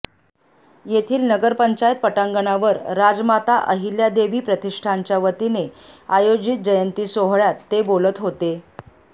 येथील नगरपंचायत पटांगणावर राजमाता अहिल्यादेवी प्रतिष्ठानच्यावतीने आयोजित जयंती सोहळ्यात ते बोलत होते